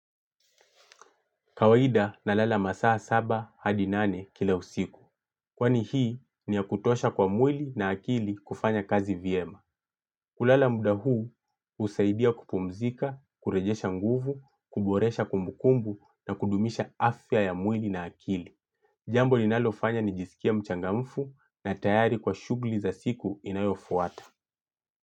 Kawaida nalala masaa saba hadi nane kila usiku. Kwani hii ni ya kutosha kwa mwili na akili kufanya kazi vyema. Kulala muda huu husaidia kupumzika kurejesha nguvu, kuboresha kumbukumbu na kudumisha afya ya mwili na akili. Jambo linalofanya nijiskie mchangamfu na tayari kwa shughli za siku inayofuata.